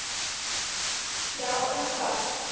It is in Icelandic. Já en hvað?